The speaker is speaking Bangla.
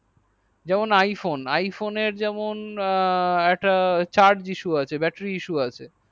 যেমন iphone এর যেমন একটা charge essu আচ্ছা battery issue আছে